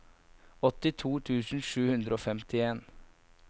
åttito tusen sju hundre og femtien